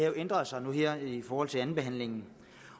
jo ændret sig i forhold til andenbehandlingen